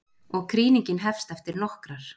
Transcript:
Og krýningin hefst eftir nokkrar.